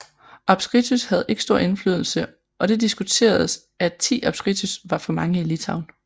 Apskritys havde ikke stor indflydelse og det diskuteredes at 10 apskritys var for mange i Litauen